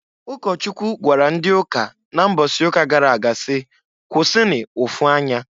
Ụkọchukwu gwara ndị ụka na mbọsị ụka gara aga si, "Kwụsịnụ ụfụ anya!"